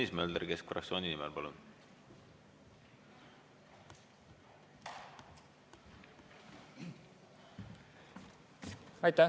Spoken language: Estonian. Tõnis Mölder keskfraktsiooni nimel, palun!